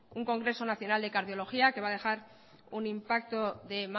un congreso nacional de cardiología que va a dejar un impacto de